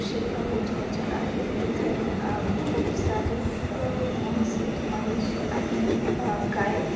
गोठ्याचा आहे. इथ अ खूप सारी अ महसी महिश आणि अ गाय--